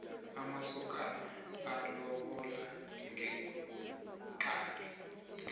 amasokano alobola ngeenkabi